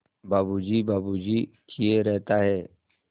बाबू जी बाबू जी किए रहता है